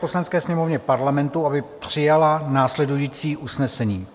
Poslanecké sněmovně Parlamentu, aby přijala následující usnesení: